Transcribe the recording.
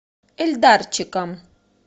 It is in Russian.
эльдарчиком